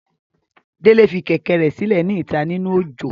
Dele fi kẹ̀kẹ́ rẹ silẹ ni ita ninu ojo.